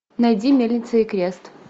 найди мельница и крест